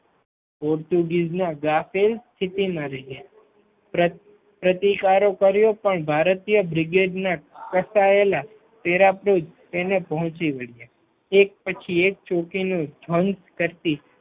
Portuguese ના ગ્રાફેલ સિટીમાં રહ્યા પ્રતિકારો કર્યો પણ ભારતીય બ્રિગેડના ફસાયેલા પેરાપુર્ત તેને પહોંચી વળિયા એક પછી એક ચોંકી નું ભંગ કરતી